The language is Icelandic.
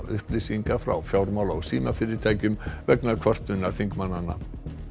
upplýsinga frá fjármála og símafyrirtækjum vegna kvörtunar þingmannanna